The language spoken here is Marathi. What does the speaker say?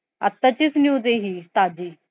आताच news आहे ही ताजी.